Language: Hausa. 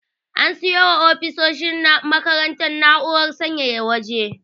An siyo wa ofisoshin makarantar na'urar sanyaya waje.